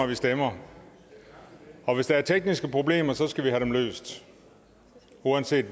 vi stemmer og hvis der er tekniske problemer skal vi have dem løst uanset